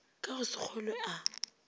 ka go se kgolwe a